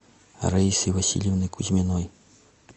раисы васильевны кузьминой